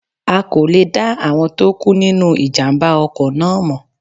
A kò lè dá àwọn tó kú nínu ìjàmbá ọkọ̀ náà mọ̀